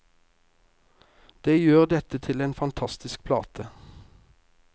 Det gjør dette til en fantastisk plate.